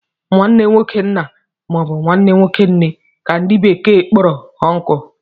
nwanne nwoke nna ma ọ bụ nwanne nwoke nne ka ndi bekee kporo ùnkulu